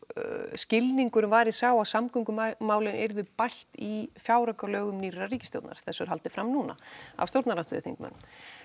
skilningurinn var sá að samgöngumálin yrðu bætt í fjáraukalögum nýrrar ríkisstjórnar þessu er haldið fram núna af stjórnarandstöðuþingmönnum